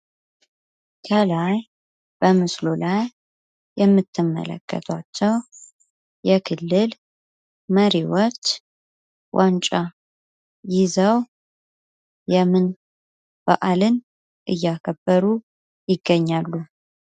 ከላይ በምስሉ ላይ የምትመለከታቸው የክልል መሪዎች ዋንጫ ይዘው የምን ባዕልን እያከበሩ ይገኛሉ?